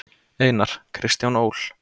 Einar: Kristján Ól.